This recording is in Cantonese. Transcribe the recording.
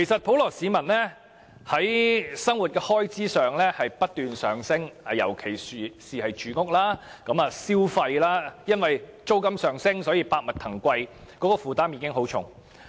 普羅市民的生活開支不斷上升，尤其是住屋和消費物價，租金上升導致百物騰貴，所以他們的負擔都很沉重。